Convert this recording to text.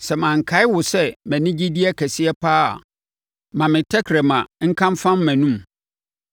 Sɛ mankae wo sɛ mʼanigyedeɛ kɛseɛ pa ara a, ma me tɛkrɛma nka mfam mʼanomu.